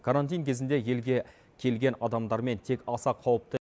карантин кезінде елге келген адамдармен тек аса қауіпті